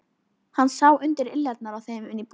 Hann sá undir iljarnar á þeim inn í íbúðina.